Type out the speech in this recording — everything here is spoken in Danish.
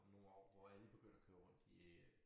Om nogle år hvor alle begynder at køre rundt i øh